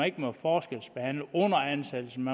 ikke må forskelsbehandles under ansættelsen